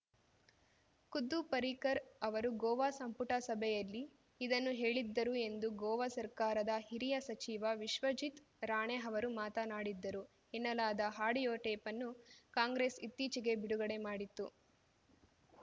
ಖುದ್ದು ಪರಿಕರ್‌ ಅವರು ಗೋವಾ ಸಂಪುಟ ಸಭೆಯಲ್ಲಿ ಇದನ್ನು ಹೇಳಿದ್ದರು ಎಂದು ಗೋವಾ ಸರ್ಕಾರದ ಹಿರಿಯ ಸಚಿವ ವಿಶ್ವಜಿತ್‌ ರಾಣೆ ಅವರು ಮಾತನಾಡಿದ್ದರು ಎನ್ನಲಾದ ಆಡಿಯೋ ಟೇಪನ್ನು ಕಾಂಗ್ರೆಸ್‌ ಇತ್ತೀಚೆಗೆ ಬಿಡುಗಡೆ ಮಾಡಿತ್ತು